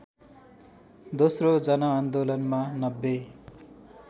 दोस्रो जनआन्दोलनमा ९०